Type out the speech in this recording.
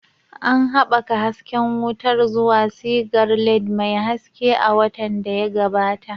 An haɓaka hasken wutar zuwa sigar LED mai haske a watan da ya gabata.